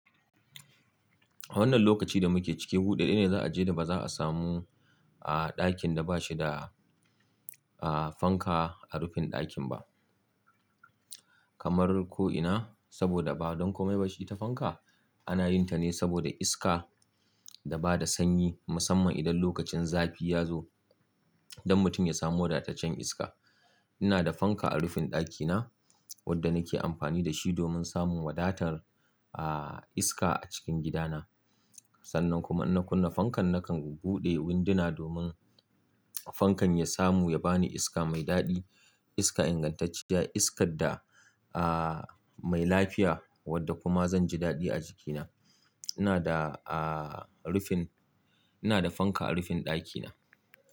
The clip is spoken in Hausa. Wannan lokaci da muke ciki, huɗu ɗaya ne za a je da ba za a samu a ɗakin da ba shi da, ah, fanka a rufin ɗakin ba. Kamar ko ina, saboda ba don komai ba shi ta fanka. Ana yin ta ne saboda iska da ba da sanyi, musamman idan lokacin zafi ya zo, don mutum ya samu wadatacen iska. Ina da fanka a rufin ɗaki na wadda nake amfani da shi domin samun wadatar, ah, iska a cikin gidana. Sannan kuma ina kunna fankan nakan buɗe winduna domin fankan ya samu ya ba ni iska mai daɗi, iska ingantacciya, iskar da, ah, mai lafiya wadda kuma zan ji daɗi a jikina. Ina da, ah, rufin-- ina da fanka a rufin ɗaki na.